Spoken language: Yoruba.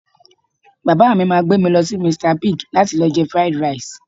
Bàbá mi máa gbé mi lọ sí Mr Big láti lọ jẹ Fried Rice